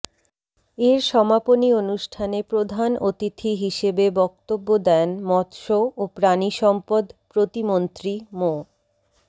এর সমাপনী অনুষ্ঠানে প্রধান অতিথি হিসেবে বক্তব্য দেন মৎস্য ও প্রাণিসম্পদ প্রতিমন্ত্রী মো